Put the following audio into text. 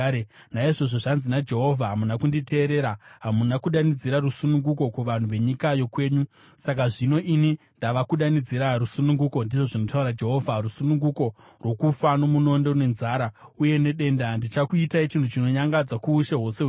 “Naizvozvo zvanzi naJehovha: Hamuna kunditeerera; hamuna kudanidzira rusununguko kuvanhu venyika yokwenyu. Saka, zvino ini ndava kukudanidzirai rusununguko, ndizvo zvinotaura Jehovha, ‘rusununguko’ rwokufa nomunondo, nenzara uye nedenda. Ndichakuitai chinhu chinonyangadza kuushe hwose hwenyika.